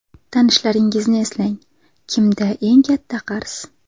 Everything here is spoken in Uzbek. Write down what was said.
Tanishlaringizni eslang, kimda eng katta qarz?